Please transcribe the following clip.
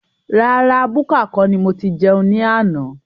Rárá búkà kọ́ ni mo tí jẹun ní àna